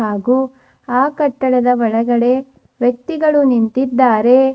ಹಾಗು ಆ ಕಟ್ಟಡದ ಒಳಗಡೆ ವ್ಯಕ್ತಿಗಳು ನಿಂತಿದ್ದಾರೆ.